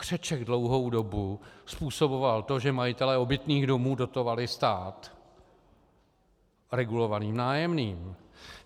Křeček dlouhou dobu způsoboval to, že majitelé obytných domů dotovali stát regulovaným nájemným.